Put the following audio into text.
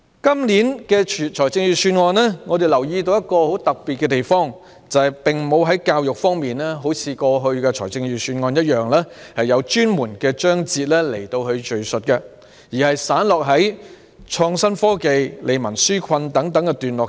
我們留意到，今年預算案有一個很特別的地方，就是不像過去的預算案般，有敘述教育的專門章節，而有關教育的內容散落在"創新科技"、"利民紓困"等段落。